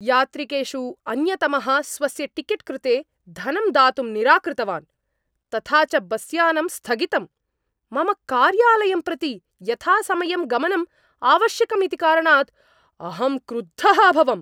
यात्रिकेषु अन्यतमः स्वस्य टिकेट् कृते धनं दातुं निराकृतवान्, तथा च बस्यानम् स्थगितम्, मम कार्यालयं प्रति यथासमयं गमनम् आवश्यकम् इति कारणात् अहं क्रुद्धः अभवम्।